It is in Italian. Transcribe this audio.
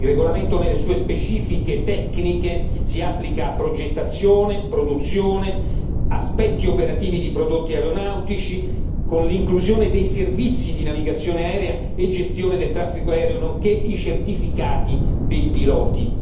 Il regolamento nelle sue specifiche tecniche si applica a progettazione, produzione, aspetti operativi di prodotti aeronautici, con l'inclusione dei servizi di navigazione aerea e gestione del traffico aereo nonché i certificati dei piloti.